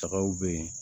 Tagaw bɛ yen